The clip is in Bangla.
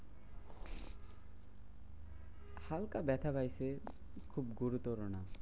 হালকা ব্যাথা পাইছে খুব গুরুতর না।